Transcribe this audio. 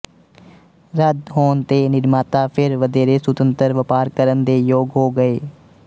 ਰੱਦ ਹੋਣ ਤੇ ਨਿਰਮਾਤਾ ਫਿਰ ਵਧੇਰੇ ਸੁਤੰਤਰ ਵਪਾਰ ਕਰਨ ਦੇ ਯੋਗ ਹੋ ਗਏ